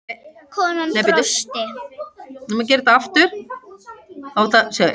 Konan brosti.